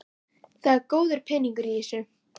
Það er góður peningur í þessu.